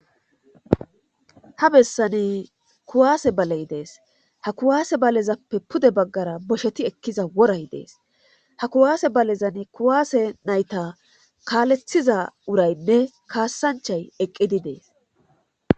ha bessani kuwaase baley dees. ha kuwaase balezappe pude baggara bosheti ekkiza woray dees ha kuwaase balezan kuwaase nayta kaaleththiza urayinne kaassanchayi eqqidi dees.